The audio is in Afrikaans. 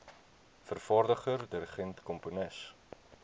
vervaardiger dirigent komponis